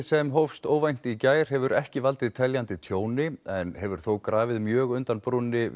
sem hófst óvænt í gær hefur ekki valdið teljandi tjóni en hefur þó grafið mjög undan brúnni